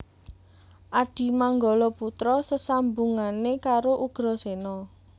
Adimanggala putra sesambungane karo Ugrasena